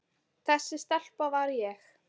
Þessi stelpa var ég.